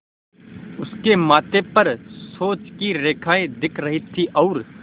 उसके माथे पर सोच की रेखाएँ दिख रही थीं और